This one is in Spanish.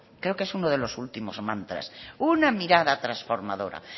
creo que es uno de los últimos mantras una mirada transformadora